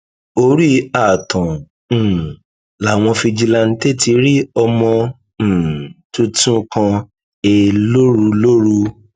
orí ààtàn um làwọn fijilanté ti rí ọmọ um tuntun kan he lóru lóru